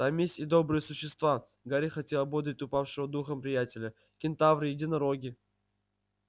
там есть и добрые существа гарри хотел ободрить упавшего духом приятеля кентавры единороги